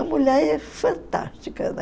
A mulher é fantástica, né?